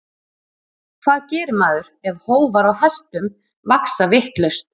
Hvað gerir maður ef hófar á hestum vaxa vitlaust?